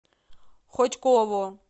хотьково